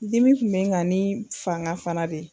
Dimi kun me n kan ni fanga fana de ye